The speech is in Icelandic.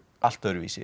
allt öðruvísi